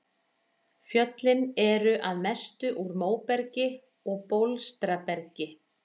Fjöllin eru að mestu úr móbergi og bólstrabergi.